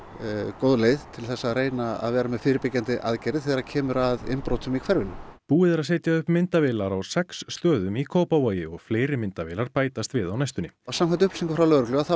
góð leið til þess að reyna að vera með fyrirbyggjandi aðgerðir þegar kemur að innbrotum í hverfinu búið er að setja upp myndavélar á sex stöðum í Kópavogi og fleiri myndavélar bætast við á næstunni samkvæmt upplýsingum frá lögreglu þá